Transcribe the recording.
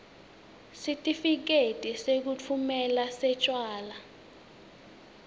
sitifiketi sekutfumela setjwala